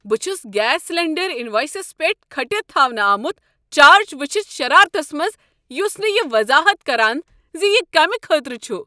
بہٕ چھس gas cylinder انوایسس پیٹھ کھٔٹتھ تھاونہٕ آمت چارج وچھتھ شرارتس منٛز، یس نہٕ یہ وضاحت کران ز یہ کمہ خٲطرٕ چھ۔